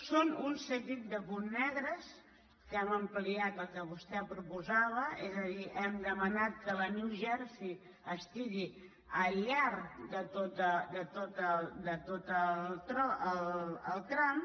són un seguit de punts negres que hem am·pliat el que vostè proposava és a dir hem demanat que la new jersey estigui al llarg de tot el tram